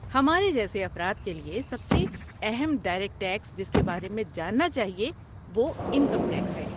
ہمارے جیسے افراد کے لیے سب سے اہم ڈائریکٹ ٹیکس جس کے بارے میں جاننا چاہیے وہ انکم ٹیکس ہے۔